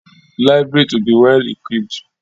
Library to be well-equipped.